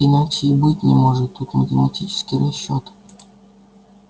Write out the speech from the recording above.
иначе и быть не может тут математический расчёт